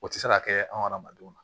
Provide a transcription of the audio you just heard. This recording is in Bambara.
O tɛ se ka kɛ an na